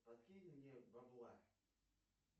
подкинь мне бабла